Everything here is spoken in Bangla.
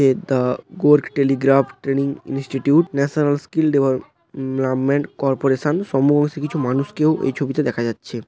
এত দ্যা গরগ telegraph training institute national skill development corporation সমবয়সী কিছু মানুষকেও ওই ছবিতে দেখা যাচ্ছে।